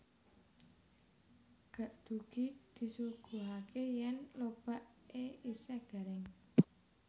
Ggakdugi disuguhake yèn lobak e isèh garing